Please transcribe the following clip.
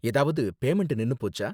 ஏதாவது பேமண்ட் நின்னு போச்சா?